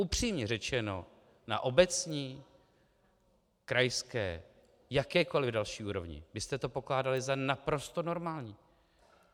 Upřímně řečeno, na obecní, krajské, jakékoli další úrovni byste to pokládali za naprosto normální.